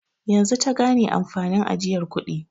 Yanzu ta gane amfanin ajiyar kudi.